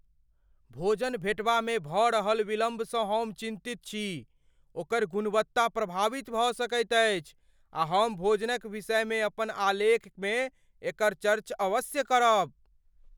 भोजन भेटबामे भऽ रहल विलम्बसँ हम चिन्तित छी। ओकर गुणवत्ता प्रभावित भऽ सकैत अछि आ हम भोजनक विषयमे अपन आलेख मे एकर चर्च अवश्य करब।